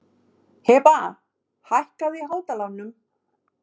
Hebba, hækkaðu í hátalaranum.